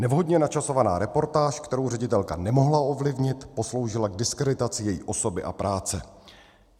Nevhodně načasovaná reportáž, kterou ředitelka nemohla ovlivnit, posloužila k diskreditaci její osoby a práce.